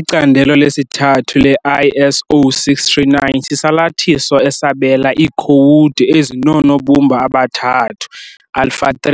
Icandelo lesithathu le-ISO 639 sisalathiso esabela iikhowudi ezinoonobumba aba-3, "alpha-3",